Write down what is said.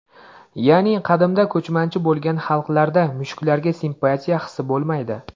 Ya’ni qadimda ko‘chmanchi bo‘lgan xalqlarda mushuklarga simpatiya hisi bo‘lmaydi.